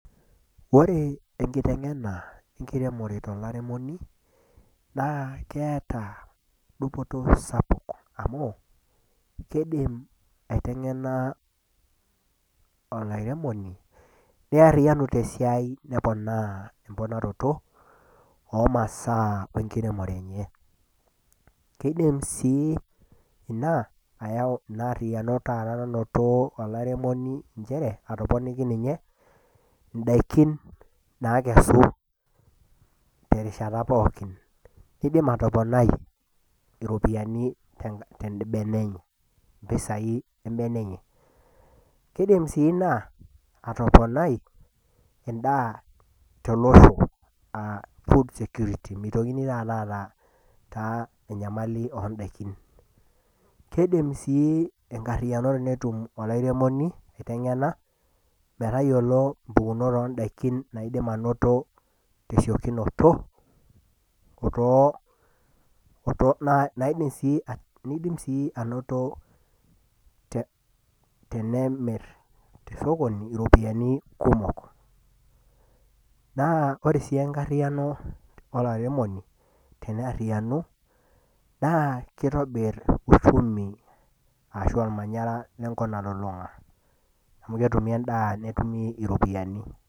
ore enkitengena enkiremore tolairemoni naa keeta dupoto spuk oleng' amu kidim aiteng'ena olairemoni , neariyianu tesiai neponaa emponaroto omasaa wenkiremore enye kidim sii ayau ina ariyiano taata nanoto olairemoni nchere atoponiki ninye idaikin naikesu terishata pooki, kidim atoponai iropiyiani tebene enye impisai ebene enye kidim sii naa atoponai edaa tolosho aa food security mitokini aata taata enyamali oo daikin kidim sii aiteng'ena metayiolo impukunot oodakin naidim anoto tesiokinoto naidim sii nidim sii anoto tenemir te sokoni iropiyiani kumok, naa ore sii enkariyiano olairemoni teneyariyianu naa kitobir uchumi ashu olmanyara lenkop nalulung'a amu ketumi edaa netumi iropiyiani.